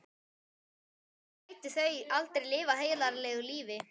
Annars gætu þau aldrei lifað heiðarlegu lífi.